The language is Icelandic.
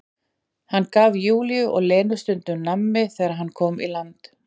Hann gaf Júlíu og Lenu stundum nammi þegar hann kom í land.